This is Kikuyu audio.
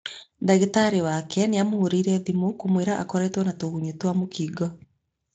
Dagĩtarĩ wake nĩamũhũrĩire thimu kumwĩra akoretwo ena tũgunyũ twa mũkingo